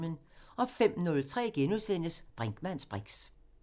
05:03: Brinkmanns briks *